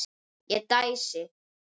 Ég dæsi.